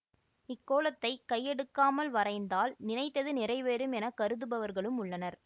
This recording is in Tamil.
இக் கோலத்தைக் கையெடுக்காமல் வரைந்தால் நினைத்தது நிறைவேறும் என கருதுபவர்களும் உள்ளனர்